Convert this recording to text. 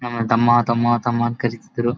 ನನ್ನ ತಮ್ಮ ತಮ್ಮ ತಮ್ಮ ಅಂತ ಕರಿತಿದ್ರು.